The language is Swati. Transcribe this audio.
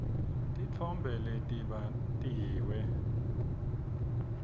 titfombe letibatiwe